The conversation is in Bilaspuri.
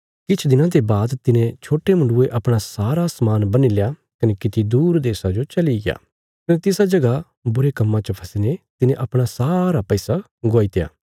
किछ दिनां ते बाद तिने छोट्टे मुण्डुये अपणा सारा समान बन्हील्या कने किति दूर देशा जो चलिग्या कने तिसा जगह बुरे कम्मां च फसीने तिने अपणा सारा पैसा गवाईत्या